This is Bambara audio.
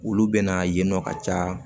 Olu bɛ na yen nɔ ka ca